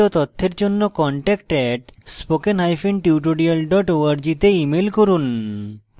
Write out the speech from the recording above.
বিস্তারিত তথ্যের জন্য contact @spokentutorial org তে ইমেল করুন